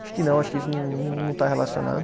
Acho que não, acho que isso não não está relacionado.